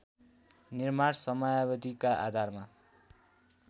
निर्माण समयावधिका आधारमा